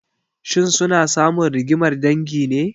Shin suna samun rigimar dangi ne?